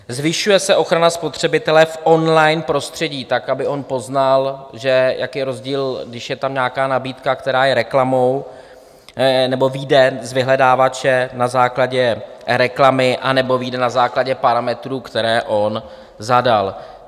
Zvyšuje se ochrana spotřebitele v on-line prostředí tak, aby on poznal, jaký je rozdíl, když je tam nějaká nabídka, která je reklamou, nebo vyjde z vyhledávače na základě reklamy, anebo vyjde na základě parametrů, které on zadal.